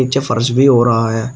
नीचे फर्श भी हो रहा है।